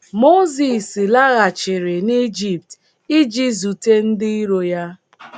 Mozis laghachiri n’Ijipt iji zute ndị iro ya.